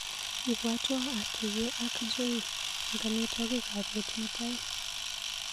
Ibwatwa atuye ak Joe eng amitwogikap bet mutai.